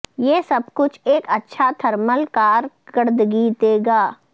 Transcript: یہ سب کچھ ایک اچھا تھرمل کارکردگی دے گا